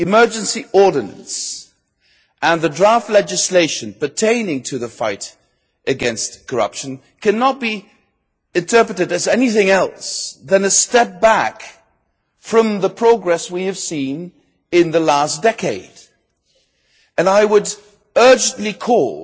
The emergency ordinance and the draft legislation pertaining to the fight against corruption cannot be interpreted as anything other than a step back from the progress we have seen in the last decade, and I would urgently call